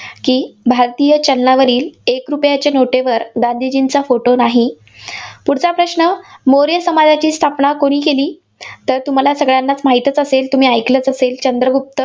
की भारतीय चलनावरील एक रुपयाच्या नोटेवर गांधीजींचा फोटो नाही. पुढचा प्रश्न. मौर्य सामाजाची स्थापना कुणी केली? तर तुम्हाला सगळ्यांनाचं माहितचं असेल? तुम्ही ऐकलचं असेल, चंद्रगुप्त